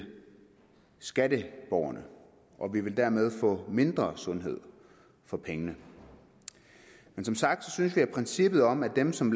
skatteborgerne og vi vil dermed få mindre sundhed for pengene som sagt synes vi at princippet om at dem som